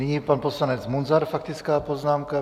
Nyní pan poslanec Munzar, faktická poznámka.